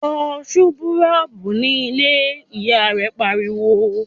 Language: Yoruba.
"Fọ súkúrọ́bù ní ilé!", Ìyá rẹ̀ pariwo